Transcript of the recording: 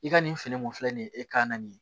I ka nin fini mun filɛ nin ye e ka na nin